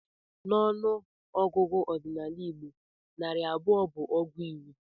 N'ọnụ ọgụgụ ọdịnala Igbo, narị abụọ bụ ọgụ iri.